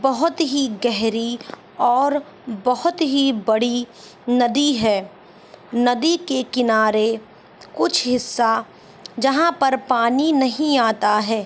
बहुत ही गहरी और बहुत ही बड़ी नदी है नदी के किनारे कुछ हिस्सा जहाँ पर पानी नहीं आता है --